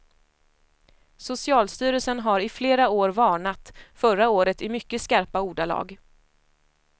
Socialstyrelsen har i flera år varnat, förra året i mycket skarpa ordalag.